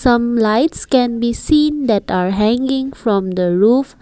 some lights can be seen that are hanging from the roof.